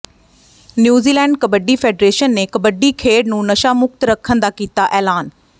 New Zealand kabaddi federation ਨੇ ਕਬੱਡੀ ਖੇਡ ਨੂੰ ਨਸ਼ਾ ਮੁਕਤ ਰੱਖਣ ਦਾ ਕੀਤਾ ਐਲਾਨ